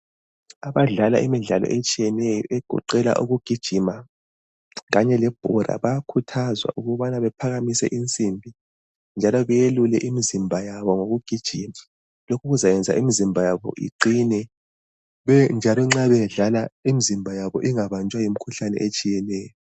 Abadlala imidlalo etshiyeneyo egoqela ukugijima kanye lebhola bayakhuthazwa ukuthi baphakamise insimbi njalo belule imizimba yabo ngokugijima lokhu kwenza imizimba yabo iqine ingabanjwa yimikhuhlane etshiyeneyo.